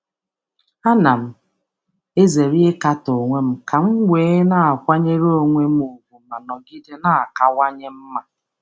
M na-ezere ịme nkatọ nke onwe iji nọgide na-enwe nkwanye ùgwù um onwe m ma na-aga n’ihu na-emeziwanye.